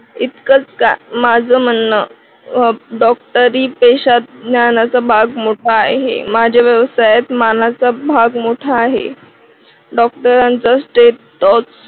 इतकच का माझं म्हणणं अह डॉक्टरी पेशात ज्ञानाचा भाग मोठा आहे. माझ्या व्यवसायात ज्ञानाचा भाग मोठा आहे. डॉक्टरांचा स्टेट अह